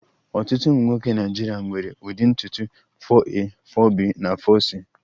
Ọtụtụ ụmụ nwoke Naịjirịa nwere ụdị ntutu 4a,4b na 4c